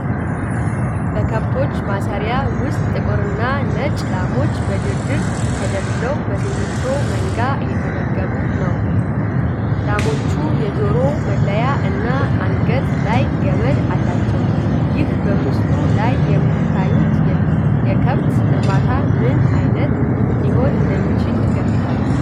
በከብቶች ማሰማሪያ ውስጥ ጥቁርና ነጭ ላሞች በረድፍ ተደርድረው በሲሚንቶ መጋቢ እየተመገቡ ነው። ላሞቹ የጆሮ መለያ እና አንገት ላይ ገመድ አላቸው። ይህ በምስሉ ላይ የሚታየው የከብት እርባታ ምን ዓይነት ሊሆን እንደሚችል ይገምታሉ?